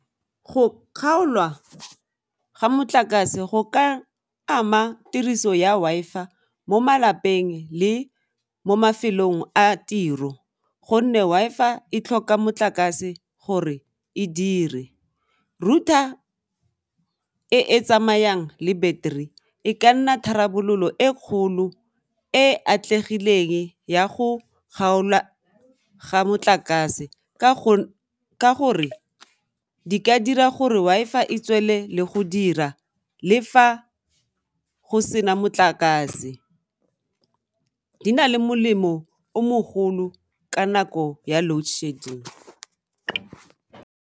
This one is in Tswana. Go kgaolwa ga motlakase go ka ama tiriso ya Wi-fi-a mo malapeng le mo mafelong a tiro gonne Wi-fi-a e tlhoka motlakase gore e dire, router e e tsamayang le battery e ka nna tharabololo e kgolo e atlegileng ya go kgaolwa ga motlakase ka gore di ka dira gore Wi-fi-a e tswele le go dira le fa go sena motlakase di na le molemo o mogolo ka nako ya loadshedding.